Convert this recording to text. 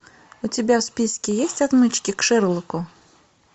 у тебя в списке есть отмычки к шерлоку